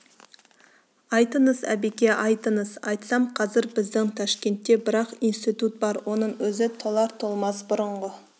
айтыңыз әбеке айтыңыз айтсам қазір біздің ташкентте бір-ақ институт бар оның өзі толар-толмас бұрынғы